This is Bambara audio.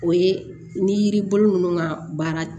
O ye ni yiri bolo ninnu ka baara